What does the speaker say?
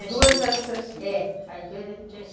As duas eram tchachica, é. As duas eram tchachica.